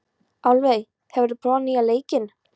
Álfey, hefur þú prófað nýja leikinn?